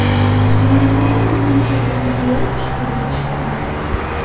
Marosimda Prezident Shavkat Mirziyoyev ishtirok etishi kutilmoqda.